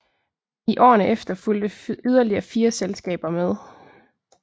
I årene efter fulgte yderligere 4 selskaber med